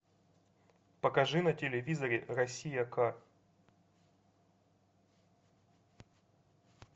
покажи на телевизоре россия к